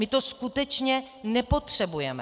My to skutečně nepotřebujeme.